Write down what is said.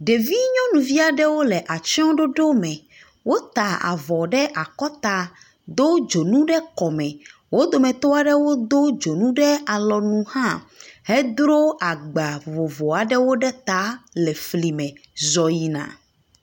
Ɖevi nyɔnuvi aɖewo le atsɔɖoɖo me. Wota avɔ ɖe akɔta do dzonu ɖe kɔme. Wo dometɔ aɖewo do dzonu ɖe alɔnu hã hedro agba vovo aɖewo ɖe ta le fli me zɔ yina.